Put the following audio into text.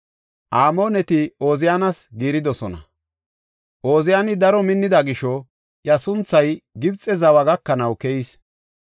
Amooneti Ooziyaanas giiridosona. Ooziyani daro minnida gisho iya sunthay Gibxe zawa gakanaw keyis.